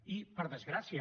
i per desgràcia